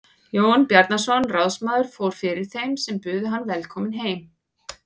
Jón Bjarnason ráðsmaður fór fyrir þeim sem buðu hann velkominn heim.